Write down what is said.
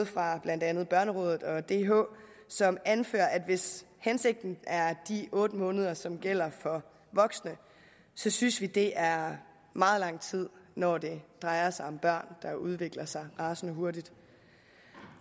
fra blandt andet børnerådet og dh som anfører at hvis hensigten er de otte måneder som gælder for voksne synes de at det er meget lang tid når det drejer sig om børn der udvikler sig rasende hurtigt